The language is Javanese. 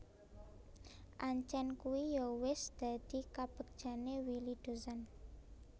Ancen kuwi yo wis dadi kabegjane Willy Dozan